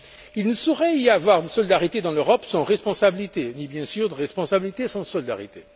Il ne saurait y avoir de solidarité dans l'Europe sans responsabilité, ni bien sûr de responsabilité sans solidarité.